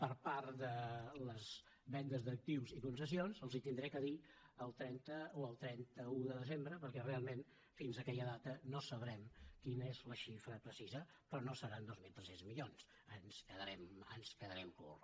per part de les vendes d’actius i concessions els ho hauré de dir el trenta o el trenta un de desembre perquè realment fins aquella data no sabrem quina és la xifra precisa però no seran dos mil tres cents milions eh ens quedarem curts